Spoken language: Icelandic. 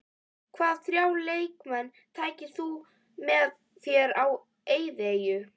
Hvaða þrjá leikmenn tækir þú með þér á eyðieyju?